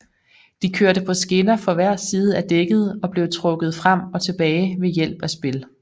De kørte på skinner på hver side af dækket og blev trukket frem og tilbage ved hjælp af spil